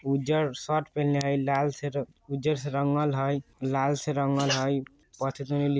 उज्जर शर्ट पहनले हेय लाल से उज्जर से रंगल हेय लाल से रंगल हेय पढने लिख --